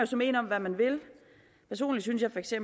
så mene om hvad man vil personligt synes jeg feks at